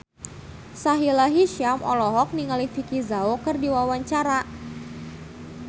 Sahila Hisyam olohok ningali Vicki Zao keur diwawancara